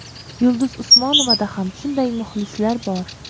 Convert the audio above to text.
Yulduz Usmonovada ham shunday muxlislar bor.